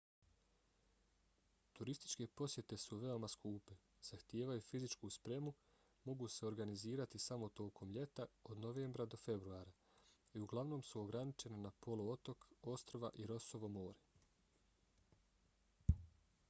turističke posjete su veoma skupe zahtijevaju fizičku spremu mogu se organizirati samo tokom ljeta od novembra do februara i uglavnom su ograničene na poluotok ostrva i rossovo more